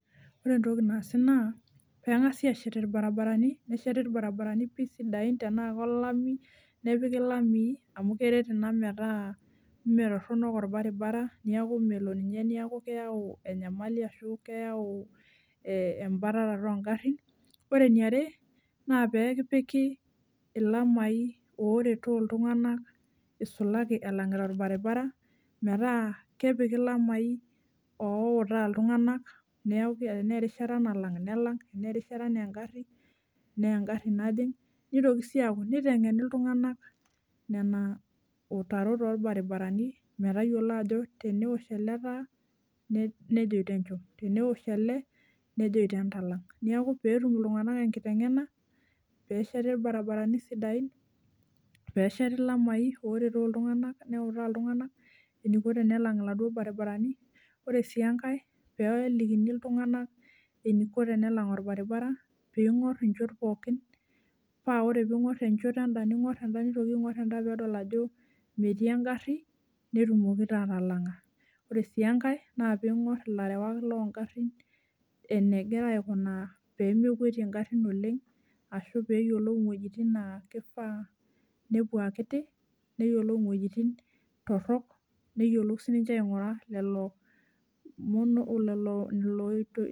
Ore entoki nasi na pengasa ashet irbaribarani metaa taana lamii nakeret ina metaa metoronok orbaribara metaa keyai embatata ongarin ore eniare na pepiki lamai outa ltunganak tenaarishata nalang melang tanaa engaru nelang neutari ltunganak metayiolo ajo teneosh elebnetum atalang neaku petum ltunganak enkitengena peshet irbaribarani sidain nesheti lamai outaki ltunganak enikuni tenesheti kulo baribarani ore si enkae pelikini ltunganak enikuni tenelang orbaribara netumoki atalanga ore enkae na oingur larewak longarin pemitoki akwetie oleng ashu ningur peyiolou wuejitin torok neyiolou sinye aingura lolo oitoi